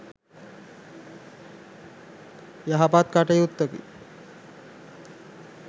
යහපත් කටයුත්තකි